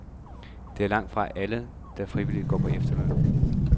Det er langt fra alle, der frivilligt er gået på efterløn.